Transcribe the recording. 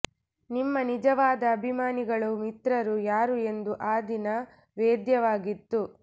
ನಿಮ್ಮ ನಿಜವಾದ ಅಭಿಮಾನಿಗಳು ಮಿತ್ರರು ಯಾರು ಎಂದು ಆ ದಿನ ವೇದ್ಯವಾಗಿತ್ತು